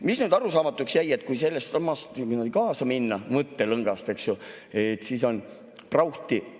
Mis nüüd arusaamatuks jäi, et kui sellesama mõttelõngaga kaasa minna, siis on meil prauhti!